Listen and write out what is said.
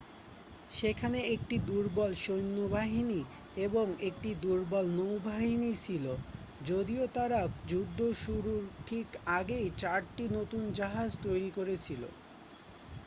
সেখানে একটি দুর্বল সৈন্যবাহিনী এবং একটি দুর্বল নৌবাহিনী ছিল যদিও তারা যুদ্ধ শুরুর ঠিক আগেই চারটি নতুন জাহাজ তৈরি করেছিল